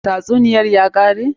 Tatsuniyar ya kare?